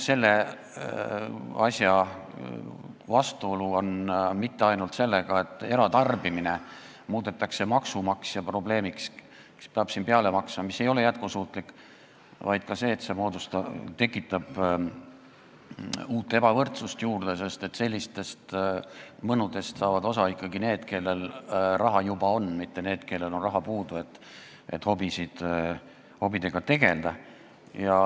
Siin ei ole mitte ainult see vastuolu, et eratarbimine muudetakse maksumaksja probleemiks, kes peab peale maksma sellele, mis ei ole jätkusuutlik, vaid ka see, et see tekitab juurde uut ebavõrdsust, sest sellistest mõnudest saavad osa ikkagi need, kellel raha on, mitte need, kellel on liiga vähe raha, et hobidega tegelda.